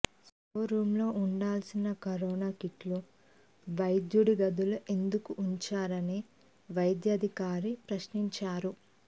store రూమ్లో ఉండాల్సిన corona కిట్లు వైద్యుడి గదలో ఎందుకు ఉంచారని వైద్యాధి కారిని ప్రశ్నించారు